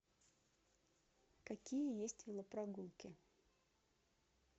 какие есть велопрогулки